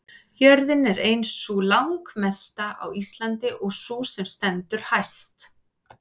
jörðin er ein sú landmesta á íslandi og sú sem stendur hæst